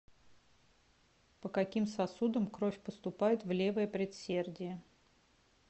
по каким сосудам кровь поступает в левое предсердие